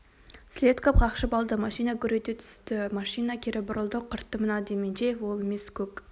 селедков қақшып алды машина гүр ете түсті машина кері бұрылды құртты мына дементьев ол емес көк